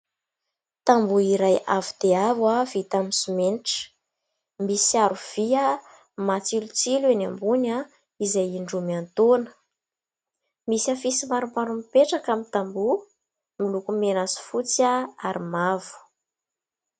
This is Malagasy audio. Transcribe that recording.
Tamboho iray avo dia avo aho vita amin'ny simenitra misy arovia matsilotsilo eny ambony aoizay indromiantoana misy hafisy maromaro mipetraka amin'ny tamboho moloko mena sy fotsy ahy ary mavo